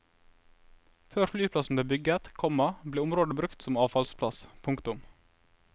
Før flyplassen ble bygget, komma ble området brukt som avfallsplass. punktum